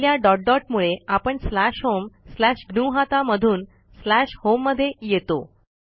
पहिल्या dot dot मुळे आपण स्लॅश होम स्लॅश ग्नुहता मधून स्लॅश होम मध्ये येतो